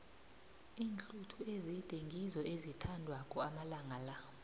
iinhluthu ezide ngizo ezithandwako amalanga la